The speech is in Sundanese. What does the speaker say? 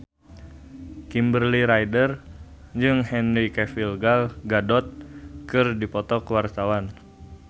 Kimberly Ryder jeung Henry Cavill Gal Gadot keur dipoto ku wartawan